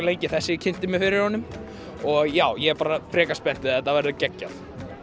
lengi þessi kynnti fyrir mig og já ég er bara frekar spenntur þetta verður geggjað